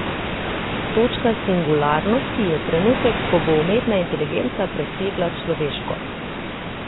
Točka singularnosti je trenutek, ko bo umetna inteligenca presegla človeško.